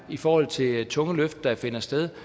i forhold til de tunge løft der finder sted